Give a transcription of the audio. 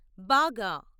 బాగా